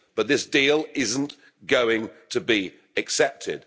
But this deal isn't going to be accepted.